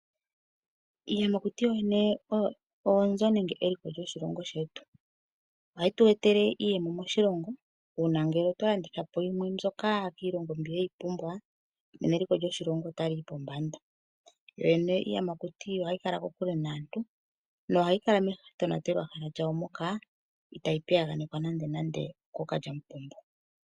Iiyamakuti yo yene oyo oonzo nenge eliko lyoshilongo shetu. Ohayi tu etele iiyemo moshilongo uuna ngele tolandithapo yimwe mbyoka kiilongo mbi yeyi pumbwa nena eliko lyoshilongo ota liyi pombanda. Yo yene iiyamakuti ohayi kala kokule naantu no hayi kala metonatelwahala lyayo moka itayi piyaganekwa nande okoo kandjamupombo.